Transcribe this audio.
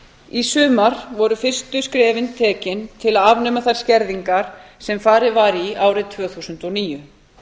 í sumar voru fyrstu skrefin tekin til að afnema þær skerðingar sem farið var í árið tvö þúsund og níu